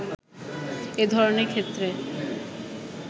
এ ধরণের ক্ষেত্রে